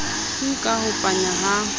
tu ka ho panya ha